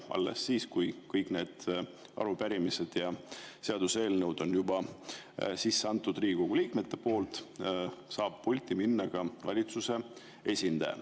Alles siis, kui Riigikogu liikmed on kõik arupärimised ja seaduseelnõud sisse andnud, saab pulti minna ka valitsuse esindaja.